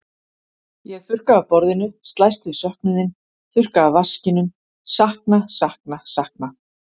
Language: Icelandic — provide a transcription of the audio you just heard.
Ég þurrka af borðinu, slæst við söknuðinn, þurrka af vaskinum, sakna, sakna, sakna.